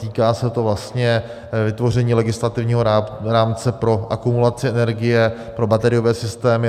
Týká se to vlastně vytvoření legislativního rámce pro akumulaci energie pro bateriové systémy.